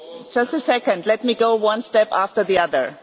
Just a second, let me go one step after the other.